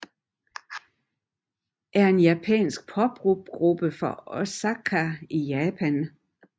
er en japansk poprockgruppe fra Osaka i Japan